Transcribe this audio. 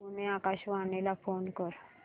पुणे आकाशवाणीला फोन कर